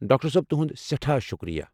Doctor صٲب، تُہُنٛد سٮ۪ٹھاہ شُکریہ۔